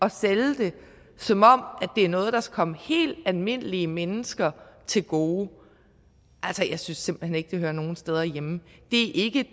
at sælge det som om det er noget der kommer helt almindelige mennesker til gode altså jeg synes simpelt hen ikke det hører nogen steder hjemme det er ikke